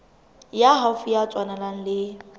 ya haufi ya tswalanang le